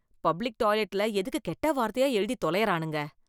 Public டாய்லெட்ல எதுக்கு கெட்ட வார்த்தையா எழுதி தொலையறானுங்க?